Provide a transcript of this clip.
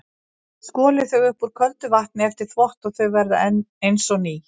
Skolið þau upp úr köldu vatni eftir þvott og þau verða eins og ný.